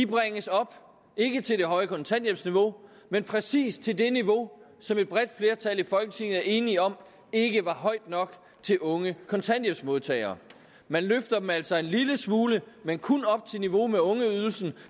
bringes op ikke til det høje kontanthjælpsniveau men præcis til det niveau som et bredt flertal i folketinget var enige om ikke var højt nok til unge kontanthjælpsmodtagere man løfter dem altså en lille smule men kun op til niveau med ungeydelsen